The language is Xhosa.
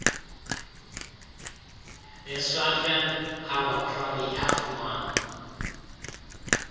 iswartland kalbakraal yafumana